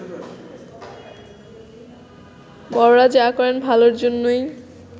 বড়রা যা করেন ভালর জন্যই